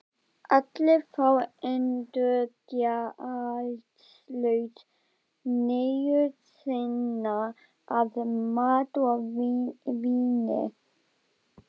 Allir fá endurgjaldslaust nægju sína af mat og víni.